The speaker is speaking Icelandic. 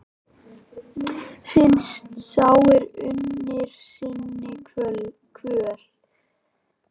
Finnst sá er unnir sinni kvöl?